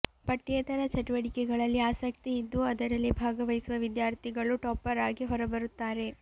ಪಠ್ಯೇತರ ಚಟುವಟಿಕೆಗಳಲ್ಲಿ ಆಸಕ್ತಿ ಇದ್ದು ಅದರಲ್ಲಿ ಭಾಗವಹಿಸುವ ವಿದ್ಯಾರ್ಥಿಗಳು ಟಾಪರ್ ಆಗಿ ಹೊರಬರುತ್ತಾರೆ